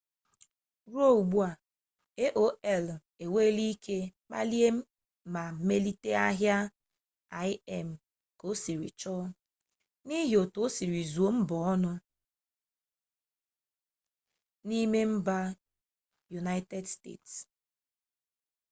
ruo ugbua aol enweele ike kpalie ma melite ahịa im ka osiri chọ n'ihi otu osiri zuo ọha onụ n'ime mba yunaịted steeti